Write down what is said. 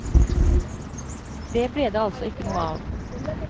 Det ble det altså ikke noe av.